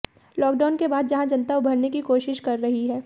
lockdown के बाद जहां जनता उभरने की कोशिश कर रही है